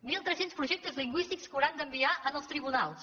mil tres cents projectes lingüístics que hauran d’enviar als tribunals